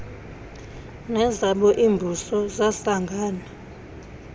nezabo iimbuso zasangana